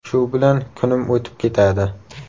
Shu bilan kunim o‘tib ketadi.